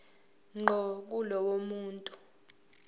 ngqo kulowo muntu